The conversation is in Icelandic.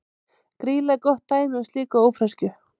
Grýla er gott dæmi um slíka ófreskju.